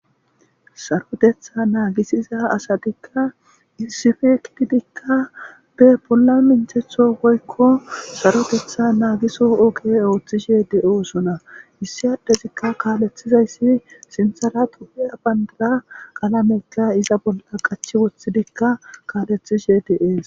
Saroyheththaa naagissiza asathikkaissipe gididikka bolla minththeththoo woykko sarotheththaa naagisokka ooththishee de7oosona; issi addezikka kaaleththizayssi sinththara ethoophphiya banddiraa qalametha iza bollakka qachchi woththidikka kaaleththishee de7ees.